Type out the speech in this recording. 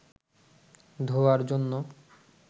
ধোঁয়ার জন্য